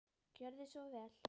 Gjörðu svo vel.